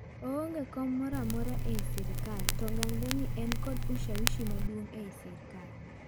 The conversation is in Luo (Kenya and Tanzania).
Oonge kom moramora ei sirkal to ganre ni en kod ushawishi maduong' ei sirkal.